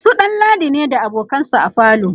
su ɗanladi ne da abokansa a falo